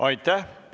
Aitäh!